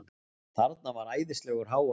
Þarna var æðislegur hávaði.